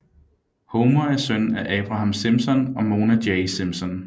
Homer er søn af Abraham Simpson og Mona Jay Simpson